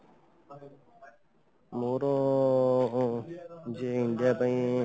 ମୋର ଯୋଉ ହ india ପାଇଁ